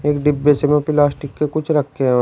एक डिब्बे से में प्लास्टिक के कुछ रखे हुए--